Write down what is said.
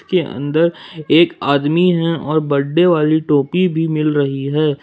ये अंदर एक आदमी है और बड्डे वाली टोपी भी मिल रही है।